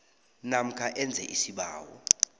namkha enze isibawo